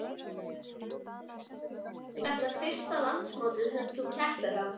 Viggó: Er þetta fyrsta landsmótið sem að þú keppir á?